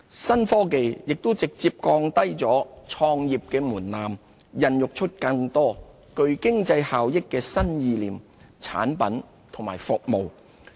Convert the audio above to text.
新科技也直接降低了創業門檻，孕育出更多具經濟效益的新意念、產品和服務。